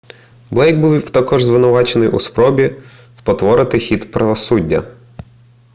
блейк був також звинувачений у спробі спотворити хід правосуддя